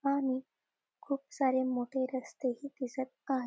आणि खूप सारे मोठे रस्तेही दिसत आहे.